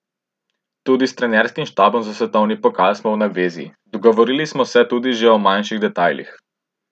Tudi s trenerskim štabom za svetovni pokal smo v navezi, dogovorili smo se tudi že o manjših detajlih.